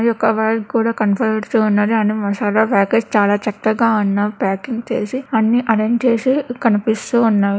యొక్క వాలు కూడా కనపడుతున్నది. అన్నీ మసాలా ప్యాకెట్స్ .చాలా చక్కగా ఉన్న ప్యాకింగ్ చేసి అన్నీ అరేంజ్ చేసి కనిపిస్తూ ఉన్నవి.